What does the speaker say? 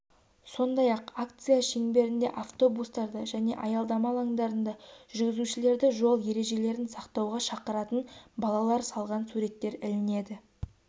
сондай-ақ акция шеңберінде автобустарда және аялдама алаңдарында жүргізушілерді жол ережелерін сақтауға шақыратын балалар салған суреттер ілінеді